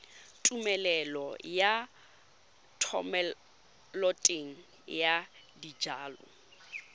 tumelelo ya thomeloteng ya dijalo